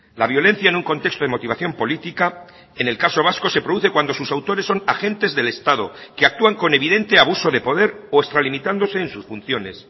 la violencia en un contexto de motivación política en el caso vasco se produce cuando sus autores son agentes del estado que actúan con evidente abuso de poder o extralimitándose en sus funciones